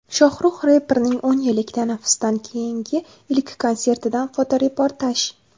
Shohrux reperning o‘n yillik tanaffusdan keyingi ilk konsertidan fotoreportaj.